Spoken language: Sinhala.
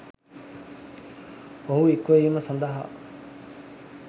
ඔහු හික්මවීම සඳහා